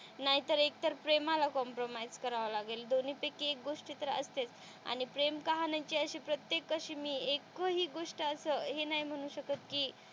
नाहीतर एकतर प्रेमाला कॉम्प्रमाईस करावं लागेल दोन्ही पैकी एक गोष्ट तर असतेच आणि प्रेम कहाणी ची अशी प्रत्येक अशी मी एक हि गोष्ट असं हे नाही म्हणू शकत कि,